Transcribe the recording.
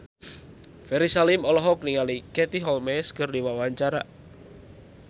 Ferry Salim olohok ningali Katie Holmes keur diwawancara